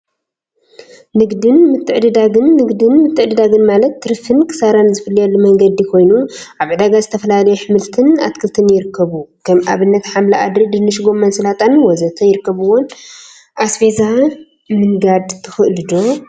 ንግድን ምትዕድዳግን ንግድን ምትዕድዳግን ማለት ትርፊን ኪሳራን ዝፍለየሉ መንገዲ ኮይኑ፤ አብ ዕዳጋ ዝተፈላለዩ አሕምልትን አትክልትን ይርከቡ፡፡ ከም አብነት ሓምሊ አድሪ፣ ድንሽ፣ ጎመንን ሰላጣን ወዘተ ይርከቡዎም፡፡ አስቤዛ ምንጋድ ትክእሉ ዶ?